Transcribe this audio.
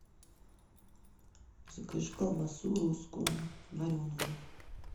закажи колбасу русскую вареную